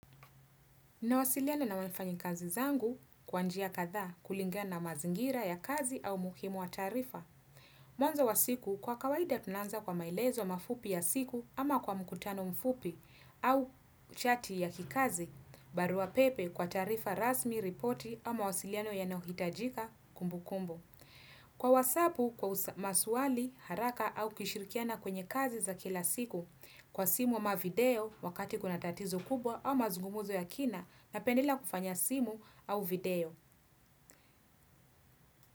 Nawasiliana na wafanyikazi zangu kwa njia kathaa kulingana na mazingira ya kazi au umuhimu wa taarifa. Mwanzo wa siku kwa kawaida tunaanza kwa maelezo mafupi ya siku ama kwa mkutano mfupi au chati ya kikazi, barua pepe kwa taarifa rasmi, ripoti ama wasiliano yanayohitajika kumbukumbu. Kwa wasabu, kwa maswali, haraka au kishirikiana kwenye kazi za kila siku kwa simu ama video wakati kuna tatizo kubwa au mazugumzo ya kina napendelea kufanya simu au video.